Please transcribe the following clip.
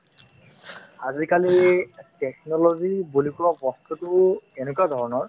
আজিকালি technology বুলি কোৱা বস্তুতো এনেকুৱা ধৰণৰ